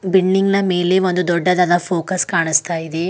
Building ನ ಮೇಲೆ ಒಂದು ದೊಡ್ಡದಾದ ಫೋಕಸ್ ಕಾಣಿಸ್ತಾ ಇದೆ.